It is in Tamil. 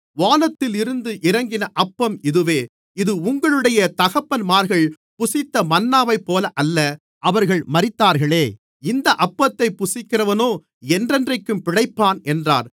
வானத்திலிருந்து இறங்கின அப்பம் இதுவே இது உங்களுடைய தகப்பன்மார்கள் புசித்த மன்னாவைப்போல அல்ல அவர்கள் மரித்தார்களே இந்த அப்பத்தைப் புசிக்கிறவனோ என்றென்றைக்கும் பிழைப்பான் என்றார்